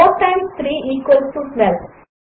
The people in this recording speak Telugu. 4 టైమ్స్ 3 ఈక్వల్స్ 12